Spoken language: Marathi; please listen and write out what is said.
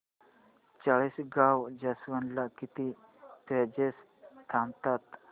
चाळीसगाव जंक्शन ला किती पॅसेंजर्स थांबतात